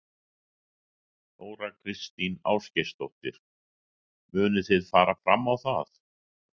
Þóra Kristín Ásgeirsdóttir: Munið þið fara fram á það?